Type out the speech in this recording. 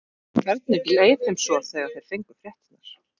Hvernig leið þeim svo þegar þeir fengu fréttirnar?